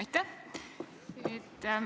Aitäh!